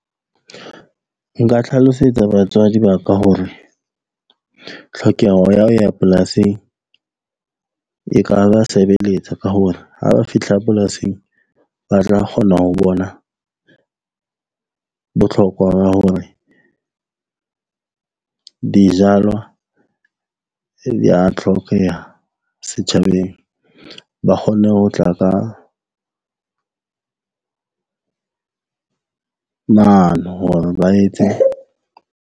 Nka tlhalosetsa batswadi ba ka hore tlhokeho ya ho ya polasing e ka ba sebeletsa ka hona ha ba fihla polasing, ba tla kgona ho bona botlhokwa ba hore dijalwa di ya tlhokeha setjhabeng. Ba kgonne ho tla ka mane hore ba etse.